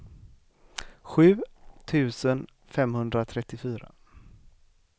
sju tusen femhundratrettiofyra